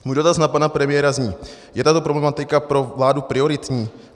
Můj dotaz na pana premiéra zní: Je tato problematika pro vládu prioritní?